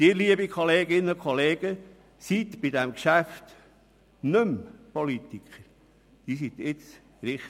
Sie, liebe Kolleginnen und Kollegen, sind bei diesem Geschäft nicht mehr Politiker, Sie sind jetzt Richter.